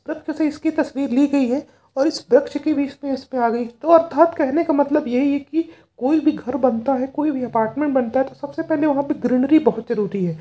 वृक्ष से इसकी तस्वीर ली गई है और इस वृक्ष की भी तस्वीर इसमे आ गई है तो अर्थात कहने का मतलब यही है कि कोई भी घर बनता कोई भी अपार्टमेंट बनता है तो सबसे पहले वहाँ ग्रीनरी बहुत जरूरी है।